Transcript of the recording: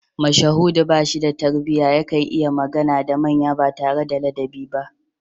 Mashahudu ba shi da tarbiyya yakan yi magana da manya ba tare da ladabi ba